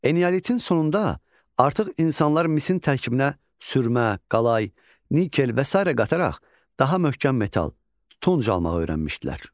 Eneolitin sonunda artıq insanlar misin tərkibinə sürmə, qalay, nikel və sairə qataraq daha möhkəm metal tuncu almağı öyrənmişdilər.